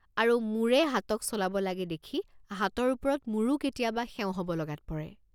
আৰু মূৰে হাতক চলাব লাগে দেখি হাতৰ ওপৰত মূৰো কেতিয়াবা সেও হ’ব লগাত পৰে।